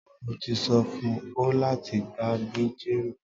Mo ti so fun o lati gba mi jero